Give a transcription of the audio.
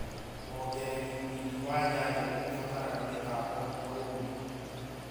Wongereri riri wa nyanya niurabatara mĩtambo na ũgi